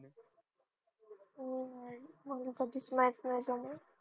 हो हो मला तसंच maths नाही जमत